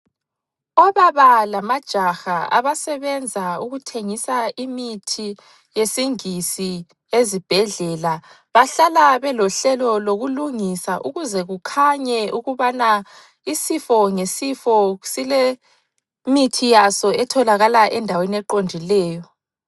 Obaba lamajaha abasebenza ukuthengisa imithi yesingisi ezibhedlela bahlala belohlelo lokulungisa ukuze kukhanye ukubana isifo ngesifo silemithi yaso etholakala endaweni eqondileyo.